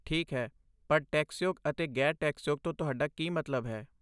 ਠੀਕ ਹੈ, ਪਰ 'ਟੈਕਸਯੋਗ' ਅਤੇ 'ਗ਼ੈਰ ਟੈਕਸਯੋਗ' ਤੋਂ ਤੁਹਾਡਾ ਕੀ ਮਤਲਬ ਹੈ?